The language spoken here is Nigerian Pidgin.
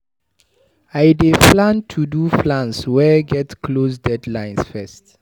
I dey plan to do plans wey get close deadlines first.